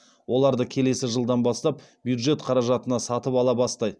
оларды келесі жылдан бастап бюджет қаражатына сатып ала бастайды